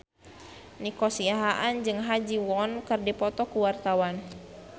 Nico Siahaan jeung Ha Ji Won keur dipoto ku wartawan